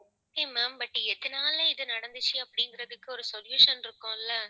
okay ma'am but எதனால இது நடந்துச்சு அப்படிங்கறதுக்கு ஒரு solution இருக்கும்ல